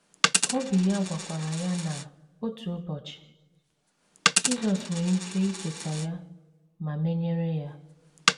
Obi ya gwakwara ya na, otu ụbọchị, Jizọs nwere ike icheta ya ma menyere ya.